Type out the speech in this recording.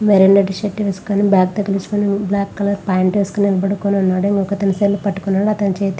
Violet shirt వేసుకొని bag తగిలించుకొని black colour pant వేసుకొని నిలబడుకొనున్నాడు. ఇంకో అతను సెల్ పట్టుకొని ఉన్నాడు.అతని చేతి --